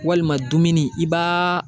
Walima dumuni i b'a